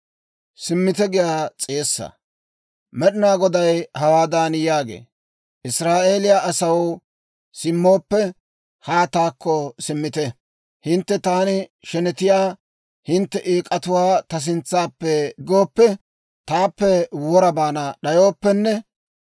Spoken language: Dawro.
Med'inaa Goday hawaadan yaagee; «Israa'eeliyaa asaw, simmooppe, haa taakko simmite. Hintte taani shenetiyaa hintte eek'atuwaa ta sintsappe diggooppe, taappe wora baana d'ayooppenne